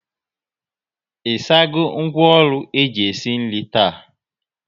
Ị sago ngwaọrụ eji esi nri taa?